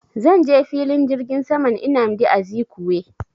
Zan je filin jirgin saman nnamdi Azikiwe